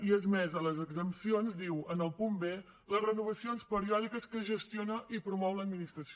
i és més a les exempcions diu en el punt b les renovacions periòdiques que gestiona i promou l’administració